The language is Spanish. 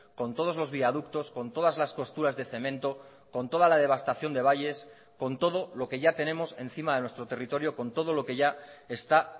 con todos los viaductos con todas las costuras de cemento con toda la devastación de valles con todo lo que ya tenemos encima de nuestro territorio con todo lo que ya está